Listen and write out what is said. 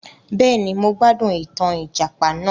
Béèni, mo gbádùn ìtàn ìjàpà náà